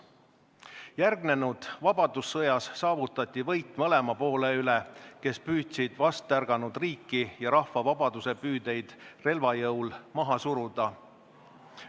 Järgnenud vabadussõjas saavutati võit mõlema poole üle, kes püüdsid vastärganud riiki ja rahva vabadusepüüdeid relva jõul maha suruda.